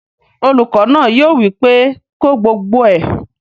Olùkọ́ náà yóò wí pé "ko gbogbo ẹ!"